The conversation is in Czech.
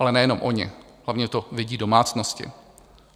Ale nejenom oni, hlavně to vidí domácnosti.